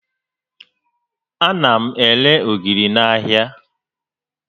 Ana m ere ogiri n'ahịa